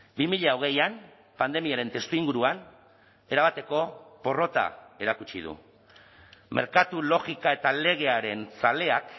bi mila hogeian pandemiaren testuinguruan erabateko porrota erakutsi du merkatu logika eta legearen zaleak